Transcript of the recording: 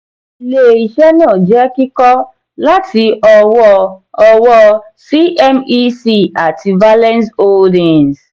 ilé-iṣé náà jẹ́ kíkọ́ láti ọwọ́ ọwọ́ cmec àti valenz holdings.